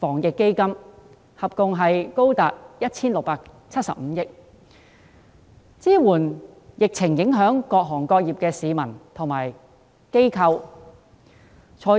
抗疫基金，金額合共高達 1,675 億元，支援受疫情影響的各行各業、市民和機構。